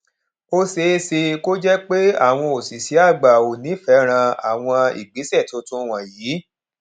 ó ṣeé ṣe kó jẹ pé àwọn òṣìṣẹ àgbà ò ní fẹràn àwọn ìgbésẹ tuntun wọnyí